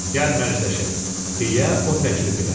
Gəl mərcələşək, deyə o təklif elədi.